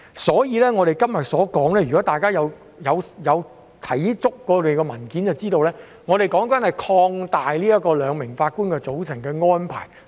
所以，如果大家有看過所有文件便會知道，我們今天所討論的，是擴大使用兩名法官的組成安排。